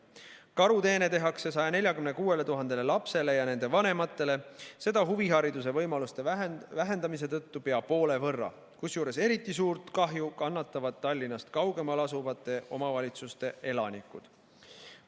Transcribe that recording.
Karuteene tehakse 146 000 lapsele ja nende vanematele, seda huvihariduse võimaluste vähendamise tõttu pea poole võrra, kusjuures eriti suurt kahju kannavad Tallinnast kaugemal asuvate omavalitsuste elanikud.